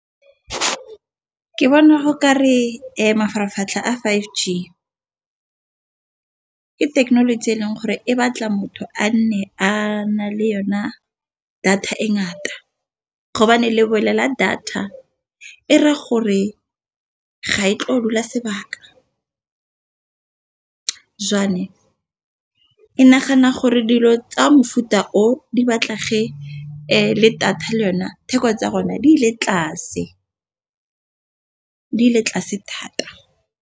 Ke bona go ka re mafaratlhatlha a five G ke thekenoloji e leng gore e batla motho a nne a na le yona data e ngata, gobane le data e raya gore ka ga e tla dula sebaka e nagana gore dilo tsa mofuta o di batla ge le data le yone theko tsa rona di ile tlase thata.